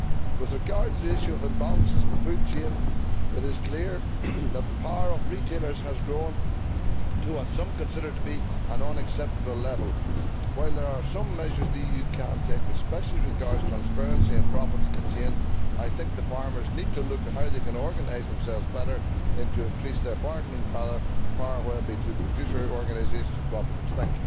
With regard to the issue of imbalances in the food chain, it is clear that the power of retailers has grown to what some consider to be an unacceptable level. While there are some measures the EU can take, especially as regards transparency and profits in the chain, I think that farmers need to look at how they can organise themselves better and increase their bargaining power, whether through producer organisations or cooperatives.